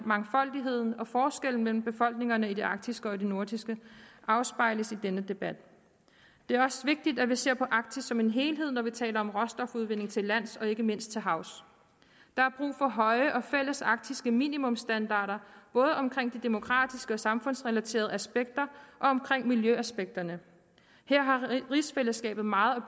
mangfoldigheden og forskellene mellem befolkningerne i det arktiske og det nordiske afspejles i denne debat det er også vigtigt at vi ser på arktis som en helhed når vi taler om råstofudvinding til lands og ikke mindst til havs der er brug for høje og fælles arktiske minimumstandarder både omkring de demokratiske og samfundsrelaterede aspekter og omkring miljøaspekterne her har rigsfællesskabet meget